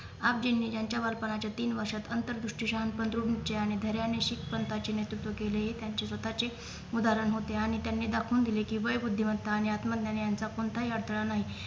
आपजींनी ज्यांच्या बालपण्याच्या तीन वर्षात अंतर्दृष्टी शहाणपण द्रुढ निश्चयाने धैर्याने शीख पंथाचे नेतृत्व केले हे त्यांचे स्वतःचे उदाहरण होते आणि त्यांनी दाखवून दिले कि वय बुध्दीत्मात्त आणि आत्मज्ञान यांचा कोणताही अडथळा नयी